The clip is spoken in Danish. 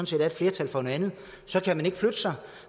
set er et flertal for noget andet så kan man ikke flytte sig